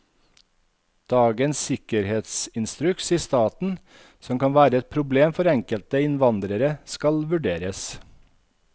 Dagens sikkerhetsinstruks i staten, som kan være et problem for enkelte innvandrere, skal vurderes.